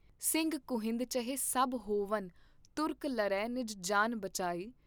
ਸਿੰਘ ਖੂੰਹੀਦ ਚਹੇਂ ਸਭ ਹੋਵਨ ਤੁਰਕ ਲਰੈਂ ਨਿਜ ਜਾਨ ਬਚਾਈ।